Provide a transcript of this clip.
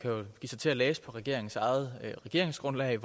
kan jo give sig til at læse i regeringens eget regeringsgrundlag